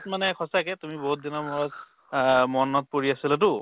মানে সঁচাকে তুমি বহুত দিনৰ মূৰত অ মনত পৰি আছিলেতো